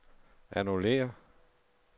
annullér